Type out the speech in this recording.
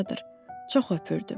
Yadımdadır, çox öpürdüm.